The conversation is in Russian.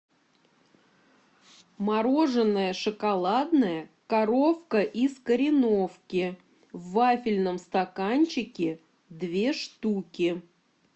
мороженое шоколадное коровка из кореновки в вафельном стаканчике две штуки